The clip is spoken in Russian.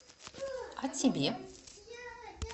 а тебе